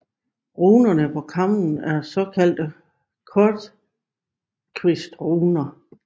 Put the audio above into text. Runerne på kammen er såkaldte kortkvistruner